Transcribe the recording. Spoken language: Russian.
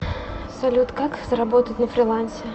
салют как заработать на фрилансе